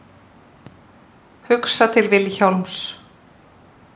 Hugsa til Vilhjálms.